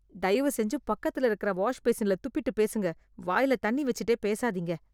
தயவு செஞ்சு பக்கத்துல இருக்க வாஷ் பேசின்ல துப்பிட்டு பேசுங்க, வாயில தண்ணி வச்சுட்டே பேசாதீங்க.